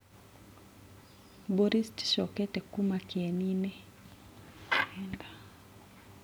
Mbũri citicokete kuma kĩeninĩ.